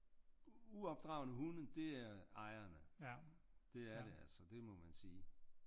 Uopdragne hunde det er ejerne det er det altså det må man sige